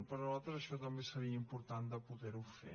per nosaltres això també seria important de poder ho fer